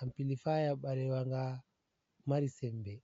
Ampilifaya balewa nga mari sembe.